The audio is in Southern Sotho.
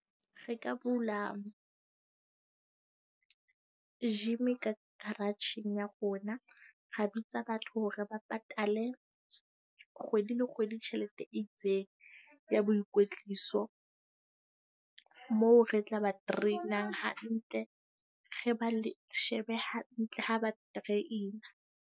Re ka bula gym ka garage-ng ya rona. Ra bitsa batho hore ba patale kgwedi le kgwedi tjhelete e itseng ya boikwetliso. Moo re tla ba train-ang hantle, re ba le shebe hantle ha ba train-a.